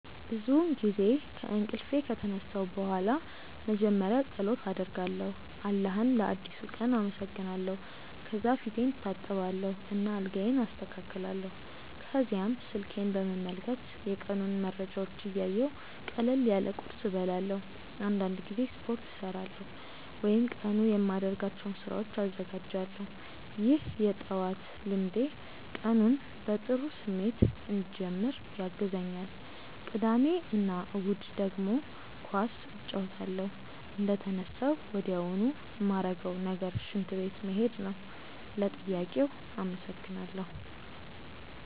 ብዙውን ጊዜ ከእንቅልፌ ከተነሳሁ በኋላ መጀመሪያ ፀሎት አደርጋለሁ አላህን ለአዲሱ ቀን አመሰግናለሁ። ከዚያ ፊቴን እታጠባለሁ እና አልጋዬን አስተካክላለሁ። ከዚያም ስልኬን በመመልከት የቀኑን መረጃዎች እያየሁ ቀለል ያለ ቁርስ እበላለሁ። አንዳንድ ጊዜ ስፖርት እሠራለሁ ወይም ለቀኑ የማደርጋቸውን ስራዎች እዘጋጃለሁ። ይህ የጠዋት ልምዴ ቀኑን በጥሩ ስሜት እንድጀምር ያግዘኛል። ቅዳሜ እና እሁድ ደግሞ ኳስ እጫወታለሁ። እንደተነሳሁ ወዲያውኑ ማረገው ነገር ሽንት ቤት መሄድ ነው። ለጥያቄው አመሰግናለው።